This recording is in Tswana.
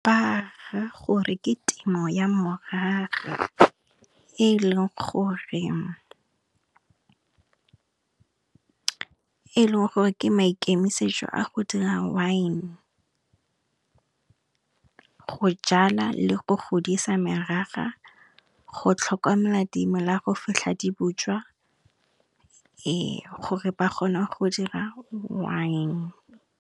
Ba ra gore ke temo ya morara e leng gore ke maikemisetšo a go dira wine. Go jala le go godisa merara, go tlhokomela dimela go fitlha di botswa gore ba kgone go dira wine.